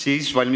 Ei ole.